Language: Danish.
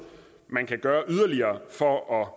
man kan gøre yderligere for at